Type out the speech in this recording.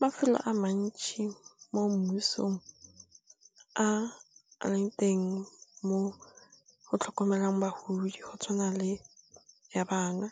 Mafelo a mantši mo mmusong a a leng teng mo go tlhokomelang bagodi go tshwana le Ya Bana.